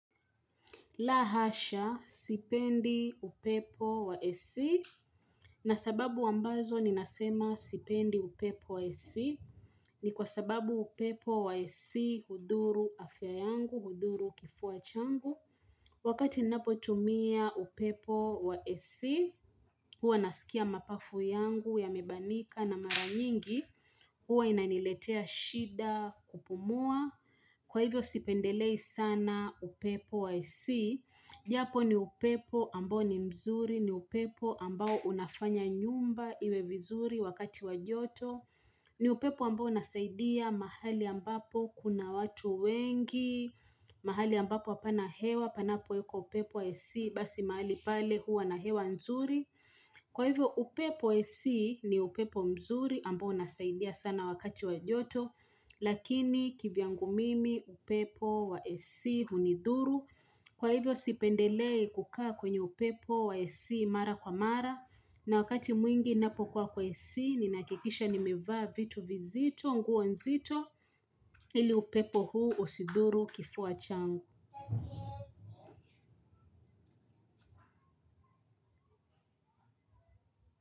La hasha sipendi upepo wa esi na sababu ambazo ninasema sipendi upepo wa esi ni kwa sababu upepo wa esi hudhuru afya yangu, hudhuru kifua changu. Wakati ninapotumia upepo wa esi huwa nasikia mapafu yangu ya mebanika na mara nyingi huwa inaniletea shida kupumua kwa hivyo sipendelei sana upepo wa esi. Japo ni upepo ambao ni mzuri, ni upepo ambao unafanya nyumba iwe vizuri wakati wajoto, ni upepo ambao unasaidia mahali ambapo kuna watu wengi, mahali ambapo apana hewa, panapo yuko upepo wa esi, basi mahali pale huwa na hewa nzuri. Kwa hivyo upepo esi ni upepo mzuri ambao unasaidia sana wakati wajoto Lakini kivyangu mimi upepo wa esi hunidhuru Kwa hivyo sipendelei kukaa kwenye upepo wa esi mara kwa mara na wakati mwingi napokuwa kwa esi ninakikisha nimevaa vitu vizito nguo nzito ili upepo huu usidhuru kifua changu.